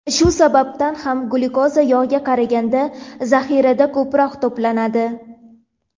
Shu sabab ham glyukoza yog‘ga qaraganda zaxirada ko‘proq to‘planadi.